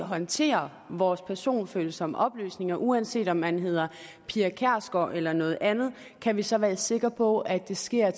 håndterer vores personfølsomme oplysninger uanset om man hedder pia kjærsgaard eller noget andet kan vi så være sikker på at det sker